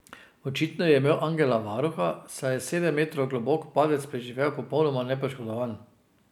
Očitno je imel angela varuha, saj je sedem metrov globok padec preživel popolnoma nepoškodovan.